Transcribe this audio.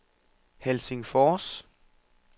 Helsingfors